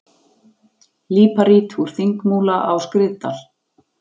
Líparít úr Þingmúla á Skriðdal.